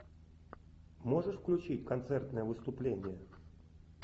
можешь включить концертное выступление